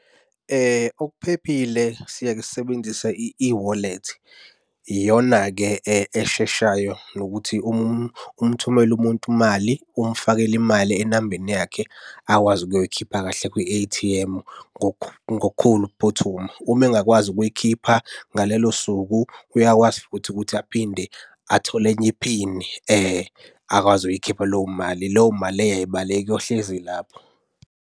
Okuphephile, siyeke sisebenzisa i-eWallet. Iyona-ke esheshayo nokuthi umthumele umuntu imali umfakele imali enambeni yakhe akwazi ukuyoyikhipha kahle kwi-A_T_M ngokukhulu ukuphuthuma. Uma engakwazi ukuyikhipha ngalelo suku, uyakwazi futhi ukuthi aphinde athole enye iphini akwazi ukuyikhipha leyo mali. Leyo mali leyo ayibaleki iyohlezi ilapho.